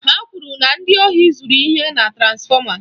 Ha kwụrụ na ndị ohi zuru ihe na transfọma.